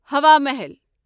ہوا محل